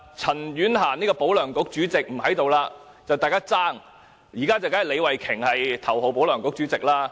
陳婉嫻這位"保梁局"主席現已不是立法會議員，現在李慧琼議員才是頭號"保梁局"主席。